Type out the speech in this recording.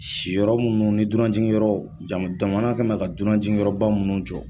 Si yɔrɔ munnu ni dunan jigi yɔrɔ jamu jamana kɛn mɛ ka dunan jigi yɔrɔ ba minnu jɔ.